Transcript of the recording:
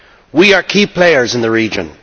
We are key players in the region.